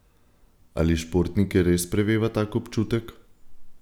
Ali športnike res preveva tak občutek?